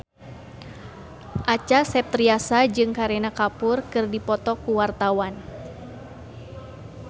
Acha Septriasa jeung Kareena Kapoor keur dipoto ku wartawan